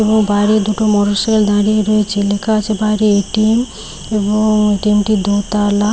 এবং বাইরে দুটো মোটরসাইকেল দাঁড়িয়ে রয়েছে লেখা আছে বাইরে এ.টি.এম. এবং এ.টি.এম. টি দুতলা।